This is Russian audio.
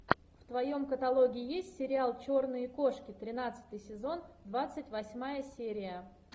в твоем каталоге есть сериал черные кошки тринадцатый сезон двадцать восьмая серия